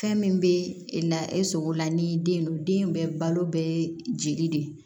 Fɛn min bɛ e la e sogo la ni den don den bɛɛ balo bɛ jeli de